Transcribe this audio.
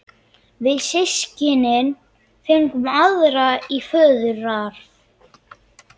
Við systkinin fengum aðra í föðurarf.